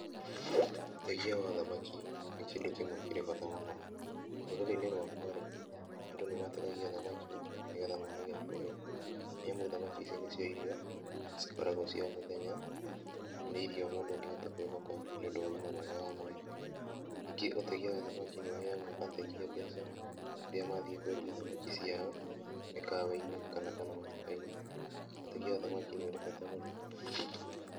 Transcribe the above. Ũtegi wa thamaki nĩ kĩndũ kĩmwe kĩrĩ bata mũno, rũrĩrĩ-ini rwakwa rĩ, andũ nĩ mategagia thamaki, nĩgetha mone gĩa kũrĩa. Nĩ amu thamaki ici nĩ cio irio cikoragwo cia o mũthenya na nĩ irio mũndũ angĩhota kwĩhoka nĩ ũndũ wa ũgima mwega wa mwĩrĩ. Ningĩ ũtegia wa thamaki nĩ ũheaga ategia mbeca, rĩrĩa mathiĩ kwendia thamaki ciao mĩkawa-inĩ ona kana matuka-inĩ. Ũtegi wa thamaki nĩ ũrĩ bata mũno.